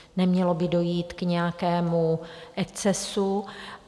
Nemělo by dojít k nějakému excesu.